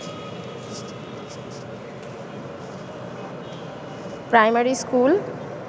primary school